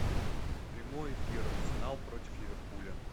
прямой эфир арсенал против ливерпуля